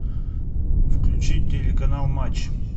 включить телеканал матч